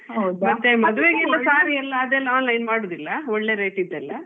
ಮದುವೆಗೆಲ್ಲ saree ಅದೆಲ್ಲ online ಮಾಡುದಿಲ್ಲ ಒಳ್ಳೆ rate ದೆಲ್ಲಾ,